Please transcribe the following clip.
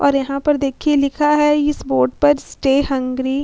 और यहाँ पर देखिए लिखा है इस बोर्ड पर लिखा है स्टे हंग्री --